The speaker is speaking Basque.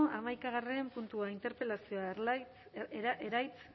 haimakagarren puntua interpelazioa eraitz